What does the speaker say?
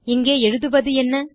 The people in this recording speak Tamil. இங்கே எழுதுவதென்ன